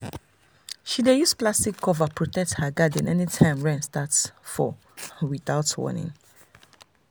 she dey use plastic cover protect her garden anytime rain start fall without warning.